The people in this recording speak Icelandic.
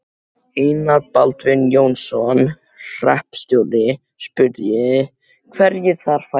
Einar Baldvin Jónsson hreppstjóri, spurði, hverjir þar færu.